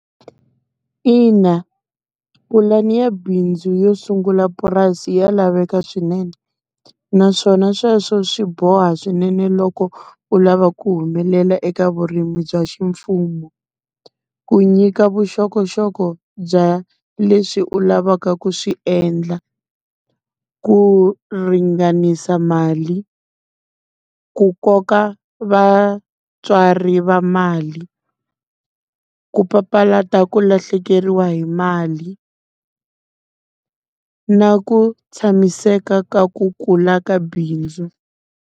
Ina pulani ya bindzu yo sungula purasi ya laveka swinene, naswona sweswo swi boha swinene loko u lava ku humelela eka vurimi bya ximfumo. Ku nyika vuxokoxoko bya leswi u lavaka ku swi endla, ku ringanisa mali ku koka vatswari va mali. Ku papalata ku lahlekeriwa hi mali na ku tshamiseka ka ku kula ka bindzu.